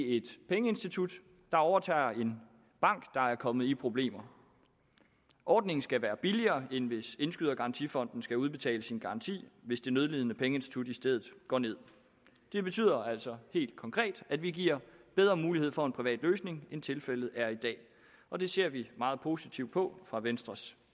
et pengeinstitut der overtager en bank der er kommet i problemer ordningen skal være billigere end hvis indskydergarantifonden skal udbetale sin garanti hvis det nødlidende pengeinstitut i stedet går nederst det betyder altså helt konkret at vi giver bedre mulighed for en privat løsning end tilfældet er i dag og det ser vi meget positivt på fra venstres